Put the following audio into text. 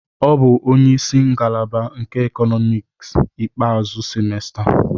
O bụ onye isi ngalaba nke Economics ikpeazụ semester.